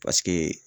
Paseke